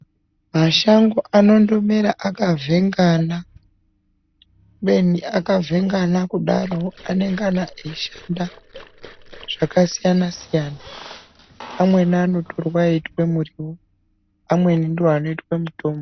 Mashango anondomera akavhengana kubeni akavhengana kudaro anengana eishanda zvakasiyana-siyana, amweni anotorwa eitwe muriwo amweni ndoanoitwe mutombo.